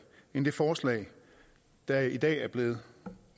end det forslag der i dag er blevet